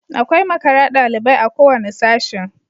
Akwai makara dalibai a kowanne Sashin